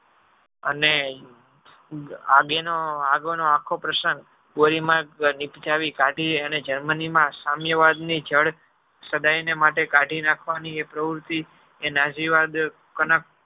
અને આગળ નો આખો પ્રશ્ન દોરીમાર્ગ થી કાઢી ને અને germany માં સામ્યવાદ ની સદાય ને માટે કાઢી નાખવાની એ પ્રવુતિ એના